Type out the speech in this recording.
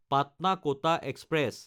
পাটনা–কটা express